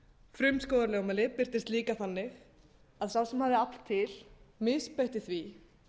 frumskógarlögmálið birtist líka þannig að sá sem hafði afl til misbeitti því